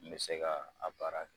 Min bɛ se ka a baara kɛ.